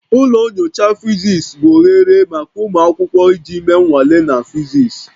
Ụlọ nyocha physics bụ oghere maka ụmụ akwụkwọ iji mee nnwale na physics